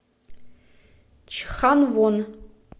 чханвон